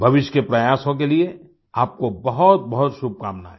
भविष्य के प्रयासों के लिए आपको बहुतबहुत शुभकामनायें